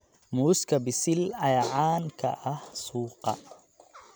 Muuska bisil ayaa caan ka ah suuqa.